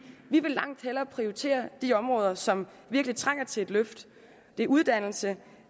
vil langt hellere prioritere de områder som virkelig trænger til et løft det er uddannelse